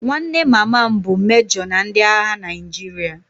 Nwanne mama m bụ mejo na ndị agha Naịjirịa